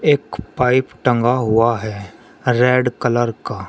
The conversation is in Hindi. एक पाइप टंगा हुआ है रेड कलर का।